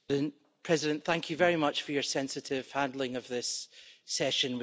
Mr President, thank you very much for your sensitive handling of this session.